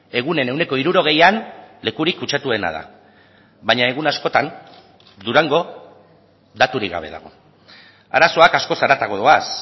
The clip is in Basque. egunen ehuneko hirurogeian lekurik kutsatuena da baina egun askotan durango daturik gabe dago arazoak askoz haratago doaz